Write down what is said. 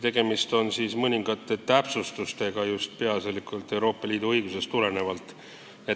Tegemist on mõningate täpsustustega, mis tulenevad peaasjalikult Euroopa Liidu õigusest.